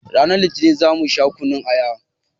Ranar litinin za mu sha kunun aya